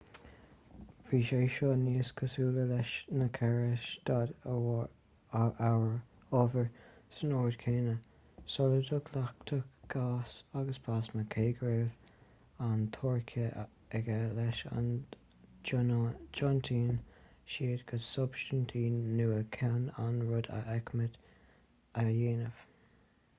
bhí sé seo níos cosúla leis na ceithre staid ábhair san ord céanna: soladach leachtach gás agus plasma cé go raibh an teoiric aige leis go dtiontaíonn siad go substaintí nua chun an rud a fheicimid a dhéanamh